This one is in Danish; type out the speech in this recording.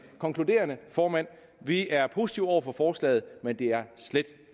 konkludere formand at vi er positive over for forslaget men det er slet